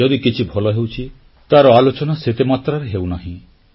ଯଦି କିଛି ଭଲ ହେଉଛି ତାର ଆଲୋଚନା ସେତେ ମାତ୍ରାରେ ହେଉନାହିଁ